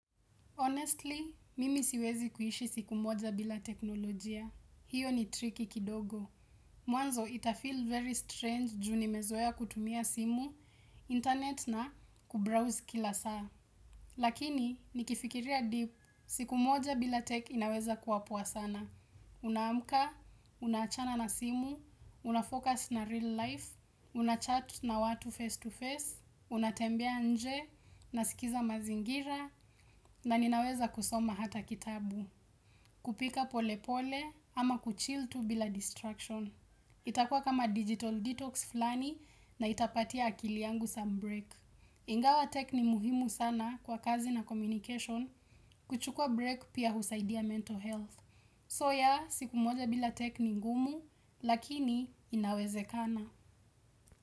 Honestly, mimi siwezi kuishi siku moja bila teknolojia. Hiyo ni tricky kidogo. Mwanzo itafeel very strange juu nimezoea kutumia simu, internet na kubrowse kila saa. Lakini, nikifikiria deep, siku moja bila tech inaweza kuwa poa sana. Unaamka, unaachana na simu, unafocus na real life, unachat na watu face to face, unatembea nje, nasikiza mazingira na ninaweza kusoma hata kitabu. Kupika polepole ama kuchill tu bila distraction. Itakua kama digital detox fulani na itapatia akili yangu some break. Ingawa tech ni muhimu sana kwa kazi na communication, kuchukua break pia husaidia mental health. So yeah, siku moja bila tech ni ngumu lakini inawezekana.